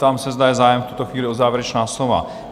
Ptám se, zda je zájem v tuto chvíli o závěrečná slova?